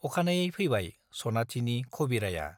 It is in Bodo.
अखानायै फैबाय सनाथिनि खबिराया।